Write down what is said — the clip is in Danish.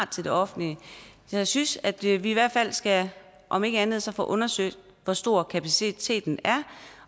til det offentlige jeg synes at vi vi i hvert fald skal om ikke andet så få undersøgt hvor stor kapaciteten er